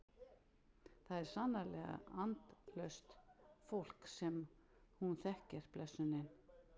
Það er sannarlega andlaust fólk sem hún þekkir blessunin.